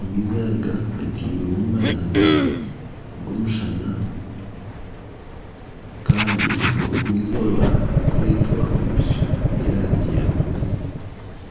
amaizi aga gatirwemu amaraanzi g'omushana kandi obwo izooba ririkureetwa omu bicu by'erangi ya buru.